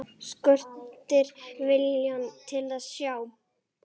Skortir viljann til að sjá.